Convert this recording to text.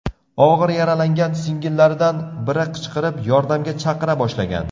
Og‘ir yaralangan singillaridan biri qichqirib, yordamga chaqira boshlagan.